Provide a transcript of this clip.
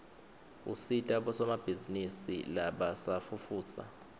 usita bosomabhizinisi labasafufusa